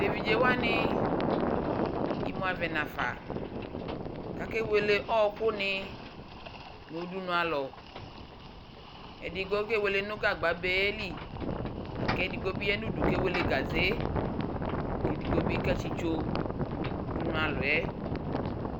teviɖƶe wani imʋavɛ naƒa kakewele ɔkʋni nʋɖʋnʋalʋ eɖigbo kewele nʋ gagbabeli lakʋ eɖigbobi yanʋɖʋ kewele iwɛ ke eɖigbobi ketsitsoo nʋɖʋnʋ alɔɛ